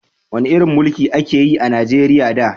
Wani irin mulki a ka yi a Najeriya da?